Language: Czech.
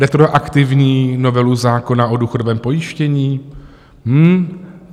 Retroaktivní novelu zákona o důchodovém pojištění?